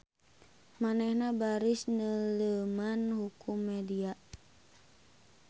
Manehna baris neuleuman hukum media.